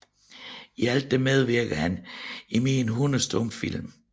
I alt medvirkede han i mere end 100 stumfilm